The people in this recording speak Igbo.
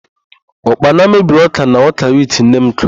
Ụkpana mebiri ọ́kà na ọ́kà wit nne m kụrụ.